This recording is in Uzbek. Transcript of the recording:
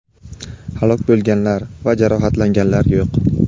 halok bo‘lganlar va jarohatlanganlar yo‘q.